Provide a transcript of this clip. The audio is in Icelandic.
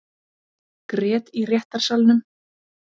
Grét í réttarsalnum